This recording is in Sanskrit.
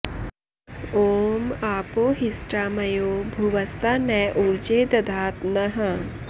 ॐ आपो हिष्ठा मयो भुवस्ता न उर्जे दधात नः